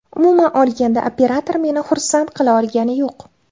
Umuman olganda, operator meni xursand qila olgani yo‘q.